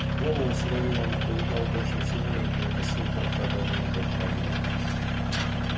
голову свою он оберегал больше всего и не выносил когда до неё дотрагивались